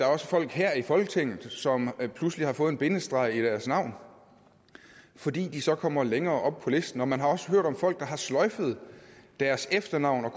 også folk her i folketinget som pludselig har fået en bindestreg i deres navn fordi de så kommer længere op på listen og man har også hørt om folk der har sløjfet deres efternavn og